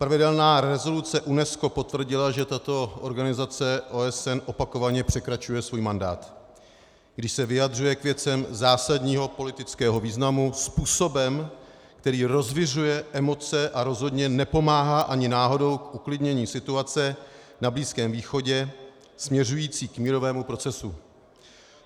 Pravidelná rezoluce UNESCO potvrdila, že tato organizace OSN opakovaně překračuje svůj mandát, když se vyjadřuje k věcem zásadního politického významu způsobem, který rozviřuje emoce a rozhodně nepomáhá ani náhodou k uklidnění situace na Blízkém východě směřující k mírovému procesu.